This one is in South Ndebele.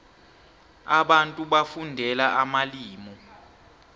abantu bafundela amalimu